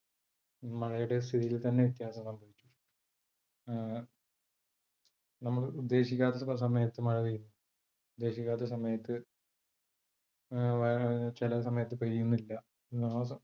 മഴയുടെ സ്ഥിതിയിൽ തന്നെ വ്യത്യാസം സംഭവിച്ചു അഹ് നമ്മൾ ഉദ്ദേശിക്കാത്ത സമയത്ത് മഴ പെയ്യുന്നു. ഉദ്ദേശിക്കാത്ത സമയത് അഹ് ചില സമയത്ത് പെയ്യുന്നില്ല